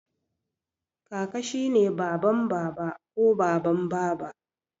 Kaka shi ne baban Baba ko baban Baba